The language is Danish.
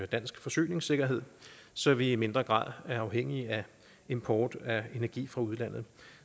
dansk forsyningssikkerhed så vi i mindre grad er afhængige af import af energi fra udlandet